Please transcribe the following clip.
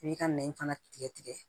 I b'i ka nɛn fana tigɛ tigɛ